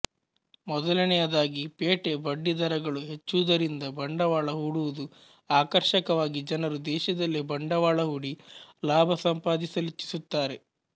ಮೊದಲನೆಯದಾಗಿ ಪೇಟೆ ಬಡ್ಡಿ ದರಗಳು ಹೆಚ್ಚುವುದರಿಂದ ಬಂಡವಾಳ ಹೂಡುವುದು ಆಕರ್ಷಕವಾಗಿ ಜನರು ದೇಶದಲ್ಲೇ ಬಂಡವಾಳ ಹೂಡಿ ಲಾಭ ಸಂಪಾದಿಸಲಿಚ್ಛಿಸುತ್ತಾರೆ